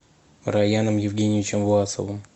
раяном евгеньевичем власовым